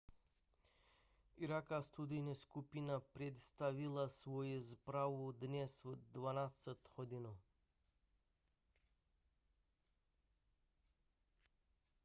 irácká studijní skupina představila svoji zprávu dnes v 12:00 gmt